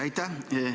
Aitäh!